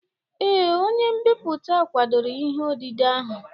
Ee, onye mbipụta kwadoro ihe odide ahụ